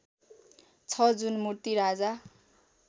छ जुन मूर्ति राजा